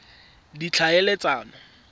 ditlhaeletsano